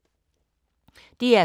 DR K